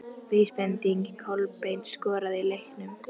Vísbending: Kolbeinn skoraði í leiknum?